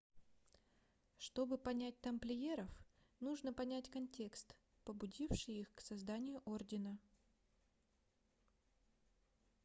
чтобы понять тамплиеров нужно понять контекст побудивший их к созданию ордена